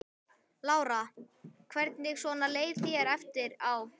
Lára: Hvernig svona leið þér eftir á?